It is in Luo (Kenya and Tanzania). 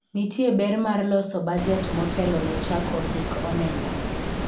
nitie ber mar loso bajet motelo ne chako hik omenda